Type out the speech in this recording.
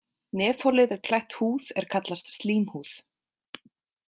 Nefholið er klætt húð er kallast slímhúð.